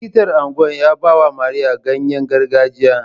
Likitan unguwar ya bawa Mariya ganyengargajiya.